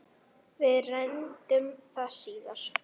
Við reyndum það síðara!